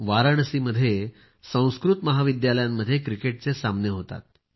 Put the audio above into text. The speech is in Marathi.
वाराणसीमध्ये संस्कृत महाविद्यालयांमध्ये क्रिकेटचे सामने होतात